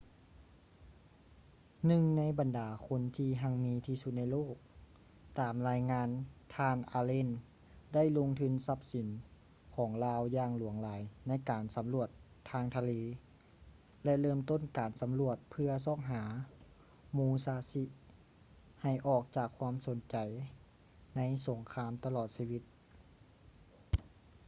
ໜຶ່ງໃນບັນດາຄົນທີ່ຮັ່ງມີທີ່ສຸດໃນໂລກ ຕາມລາຍງານ ທ່ານ ອາເລນ allen ໄດ້ລົງທຶນຊັບສິນຂອງລາວຢ່າງຫຼວງຫຼາຍໃນການສຳຫຼວດທາງທະເລ ແລະ ເລີ່ມຕົ້ນການສຳຫຼວດເພື່ອຊອກຫາ ມູຊາຊິ musashi ໃຫ້ອອກຈາກຄວາມສົນໃຈໃນສົງຄາມຕະຫຼອດຊີວິດ